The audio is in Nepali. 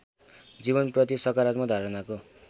जीवनप्रति सकारात्मक धारणाको